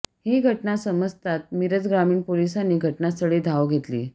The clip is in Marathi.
ही घटना समजतात मिरज ग्रामीण पोलिसांनी घटनास्थळी धाव घेतली